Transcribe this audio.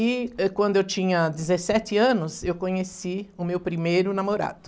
E, eh, quando eu tinha dezessete anos, eu conheci o meu primeiro namorado.